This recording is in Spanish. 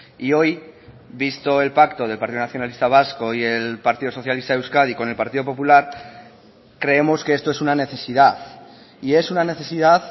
y hoy visto el pacto del partido nacionalista vasco y el partido socialista de euskadi con el partido popular creemos que esto es una necesidad y es una necesidad